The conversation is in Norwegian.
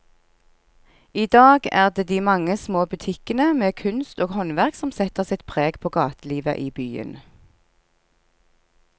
I dag er det de mange små butikkene med kunst og håndverk som setter sitt preg på gatelivet i byen.